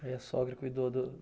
Aí a sogra cuidou do